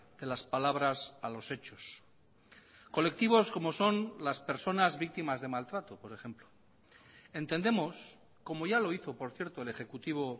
de las palabras a los hechos colectivos como son las personas víctimas de maltrato por ejemplo entendemos como ya lo hizo por cierto el ejecutivo